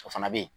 O fana bɛ ye